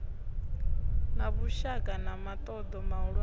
na vhushaka na muṱoḓo muhulwane